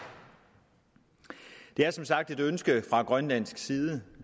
det er som sagt et ønske fra grønlandsk side